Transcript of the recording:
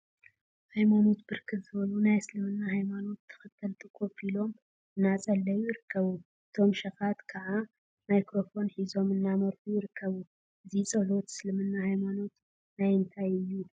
ሃይማኖት ብርክት ዝበሉ ናይ እስልምና ሃይማኖተ ተከተልቲ ኮፍ ኢሎም እናፀለዩ ይርከቡ፡፡ እቶም ሸካት ከዓ ማይክሮፎን ሒዞም እናመረሑ ይርከቡ፡፡ እዚ ፀሎት እስልምና ሃይማኖት ናይ እንታይ እዩ?